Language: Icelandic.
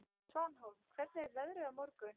Svanhólm, hvernig er veðrið á morgun?